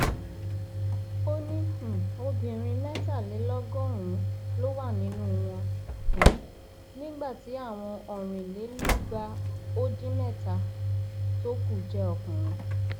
ó ní um obìnrin mẹtàlélọgọrùnún ló wà nínú wọn um nígbà tí àwọn ọrìnlélúgba ó dín mẹta tó kù jẹ ọkùnrin